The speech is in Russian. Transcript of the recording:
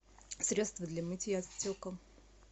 средство для мытья стекол